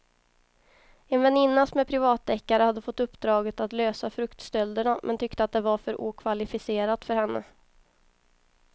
En väninna som är privatdeckare hade fått uppdraget att lösa fruktstölderna men tyckte att det var för okvalificerat för henne.